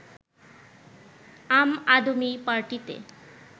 আম আদমি পার্টিতে